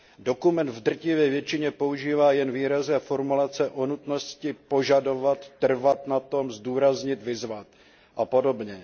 Dokument v drtivé většině používá jen výrazy a formulace o nutnosti požadovat, trvat na tom, zdůraznit, vyzvat a podobně.